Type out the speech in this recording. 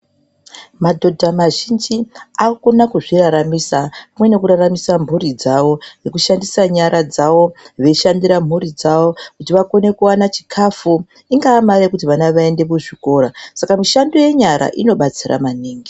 Madhodha mazhinji ,akukona kuzviraramisa ,pamwe nekuraramisa mphuri dzavo, ngekushandisa nyara dzavo, veishandira mhuri dzavo ,kuti vakone kuwana chikhafu ,ingaamare yekuti vana vaende kuzvikora. Saka mishando yenyara inobatsira maningi.